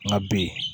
N ka b